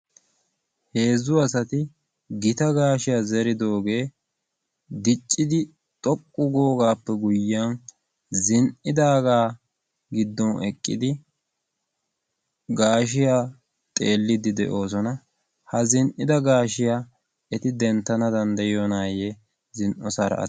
heezzu asati gita gashiyaa zeridooge diccidi xoqqu googaappe guyiyyan zin''idaaga giddon eqqidi gaashshiyaa xeelide de'oosona. ha zin''ida gaashshiya eti danddayiyoonaye zin'oosara ati....